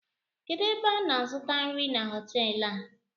Kedụ ebe ana azụta nri na hotelu a?